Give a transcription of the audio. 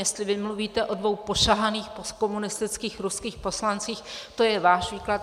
Jestli vy mluvíte o dvou pošahaných komunistických ruských poslancích, to je váš výklad.